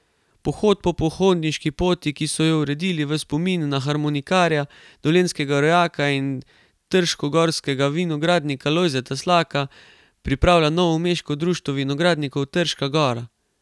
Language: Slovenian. Pohod po pohodniški poti, ki so jo uredili v spomin na harmonikarja, dolenjskega rojaka in trškogorskega vinogradnika Lojzeta Slaka, pripravlja novomeško Društvo vinogradnikov Trška gora.